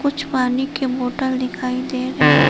पानी के बोतल दिखाई दे रहे--